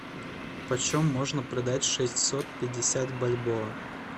почем можно продать шестьсот пятьдесят бальбоа